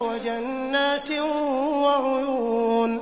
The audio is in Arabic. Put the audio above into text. وَجَنَّاتٍ وَعُيُونٍ